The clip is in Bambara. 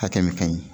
Hakɛ min ka ɲi